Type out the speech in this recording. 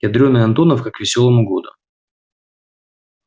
ядрёная антоновка к весёлому году